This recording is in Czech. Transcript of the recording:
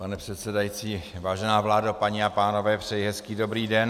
Pane předsedající, vážená vládo, paní a pánové, přeji hezký dobrý den.